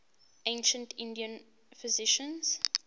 ancient indian physicians